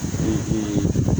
Se te